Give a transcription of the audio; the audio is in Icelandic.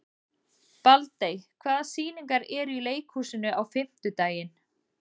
Baldey, hvaða sýningar eru í leikhúsinu á fimmtudaginn?